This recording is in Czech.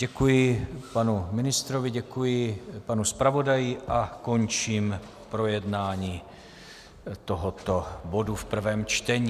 Děkuji panu ministrovi, děkuji panu zpravodaji a končím projednávání tohoto bodu v prvém čtení.